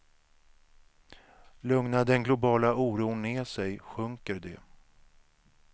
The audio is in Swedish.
Lugnar den globala oron ner sig sjunker de.